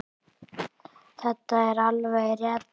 Þetta er alveg rétt.